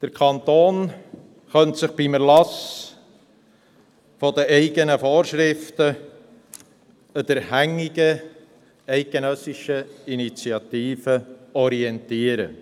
Der Kanton könnte sich beim Erlass der eigenen Vorschriften an der hängigen eidgenössischen Initiative orientieren.